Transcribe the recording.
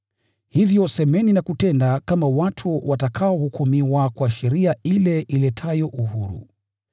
Hivyo semeni na kutenda kama watu watakaohukumiwa kwa sheria ile iletayo uhuru.